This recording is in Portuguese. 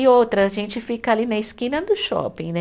E outra, a gente fica ali na esquina do shopping, né?